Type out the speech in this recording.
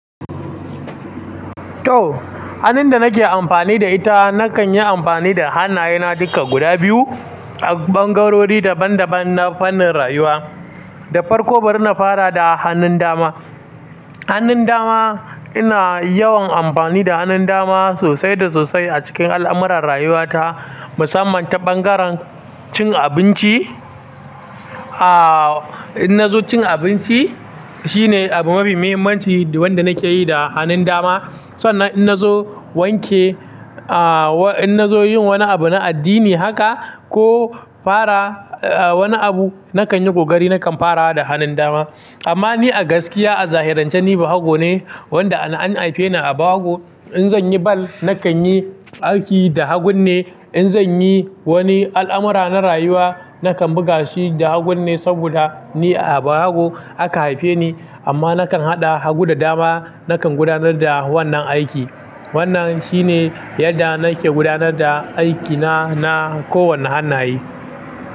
To, hannun da nake amfani da ita nakan yi amfani da hannayena duka guda biyu a ɓangarori daban daban na fannin rayuwa. Da farko bari na fara da hannun dama. Hannun dama ina yawan amfani da hannun dama sosai da sosai a cikin al'amuran rayuwata, musamman ta ɓangaren cin abinci. Aaa, in na zo cin abinci shine abu mafi mahimmanci wanda nake yi da hannun dama. Sannan in na zo wanke, aa in na zo yin wani abu na addini haka ko fara wani abu nakan yi ƙoƙari nakan fara da hannun dama. Amma ni a gaskiya a zahirance ni Bahago ne wanda an haife ni a Bahago. In zan yi bal nakan yi aiki da hagu ne, in zan yi wani al'amura na rayuwa nakan buga shi da hagu ne saboda ni a Bahago aka haife ni. Amma nakan haɗa hagu da dama nakan gudanar da wannan aiki. Wannan shi ne yadda nake gudanar da aikina na kowane hannaye.